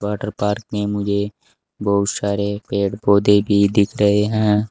Water park में मुझे बोहोत सारे पेड़-पौधे भी दिख रहे हैं।